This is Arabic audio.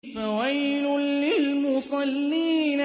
فَوَيْلٌ لِّلْمُصَلِّينَ